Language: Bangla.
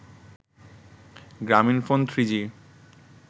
গ্রামীনফোন থ্রিজি